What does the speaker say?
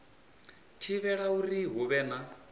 thivhela uri hu vhe na